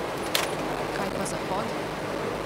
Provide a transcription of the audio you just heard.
Kaj pa Zahod?